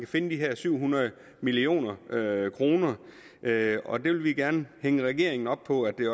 finde de her syv hundrede million kr og vi vil gerne hænge regeringen op på at de